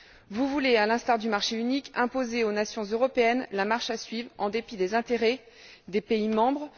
Vous voulez, à l'instar du marché unique, imposer aux nations européennes la marche à suivre en dépit des intérêts des pays membres.